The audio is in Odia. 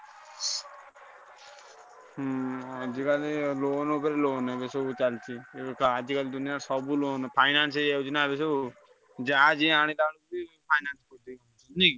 ଆଜିକାଲି loan ଉପରେ loan ଏବେ ସବୁ ଚାଲିଛି। ଆଜିକାଲି ଦୁନିଆରେ ସବୁ loan finance ହେଇଯାଉଛି ନା ଏବେ ସବୁ ଯାହା ଯିଏ ଆଣିଲେ ଆନୁଚି finance କରୁଛି ନୁହେଁକି?